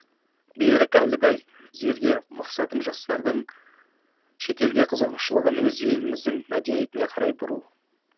берік әлібай зергер мақсатым жастарымыздың шетелге қызығушылығын өз еліміздің мәдениетіне қарай бұру